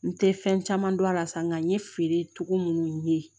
N te fɛn caman don a la sa nka nka n ye feere cogo munnu ye